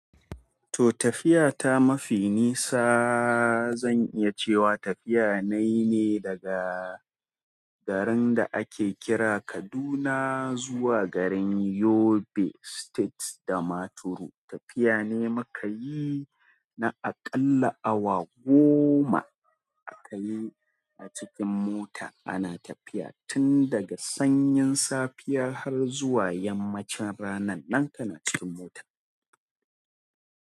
To tafiya ta mafi nisa zan iya cewa tafiya nayi ne daga garin da ake kira Kaduna zuwa garin Yobe State, Damaturu. Tafiya ne muka yi na aƙalla awa goma aka yi a cikin mota. Ana tafiya tun daga sanyin safiya har zuwa yammacin ranan nan kana cikin mota.